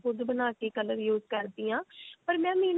ਖ਼ੁਦ ਬਣਾਕੇ color use ਕਰਦੀ ਹਾਂ ਪਰ mam ਇਹ ਨਾ